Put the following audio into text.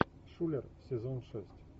шулер сезон шесть